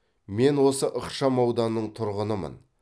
мен осы ықшамауданның тұрғынымын